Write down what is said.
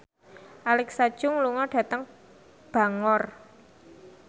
Alexa Chung lunga dhateng Bangor